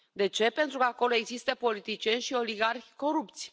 De ce? Pentru că acolo există politicieni și oligarhi corupți.